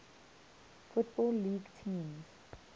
football league teams